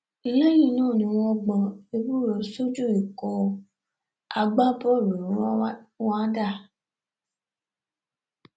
lẹyìn náà ni wọn gbọ ewúro sójú ikọ̀ agbábọ́ọ̀lù rwanda